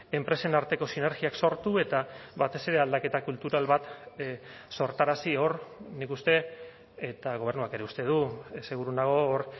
enpresen arteko sinergiak sortu eta batez ere aldaketa kultural bat sortarazi hor nik uste eta gobernuak ere uste du seguru nago hor